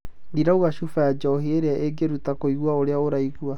Ndi rauga cuba ya njohi ĩria ingĩruta kũigua ũrĩa ũraigua.